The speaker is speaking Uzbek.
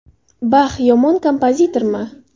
Bax yomon kompozitormi?